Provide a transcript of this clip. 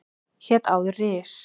Hét áður Ris